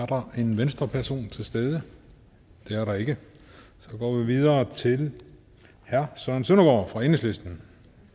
der en venstreperson til stede det er der ikke og så går vi videre til herre søren søndergaard fra enhedslisten